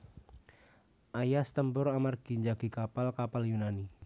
Aias tempur amargi njagi kapal kapal Yunani